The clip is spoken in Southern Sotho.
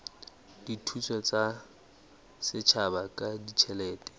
dithuso tsa setjhaba ka ditjhelete